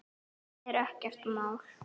Það er ekkert mál.